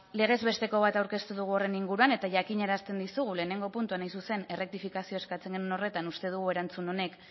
legez besteko bat aurkeztu dugu horren inguruan eta jakinarazten dizugu lehenengo puntuan hain zuzen errektifikazioa eskatzen genuen horretan uste dugu erantzun honek